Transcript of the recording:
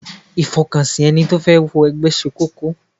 Ìfọkànsìn ẹni tó fẹ́ wọ ẹgbẹ́ ṣe kókó.